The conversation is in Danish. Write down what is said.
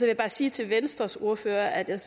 jeg bare sige til venstres ordfører at jeg